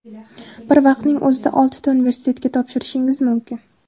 Bir vaqtning o‘zida oltita universitetga topshirishingiz mumkin.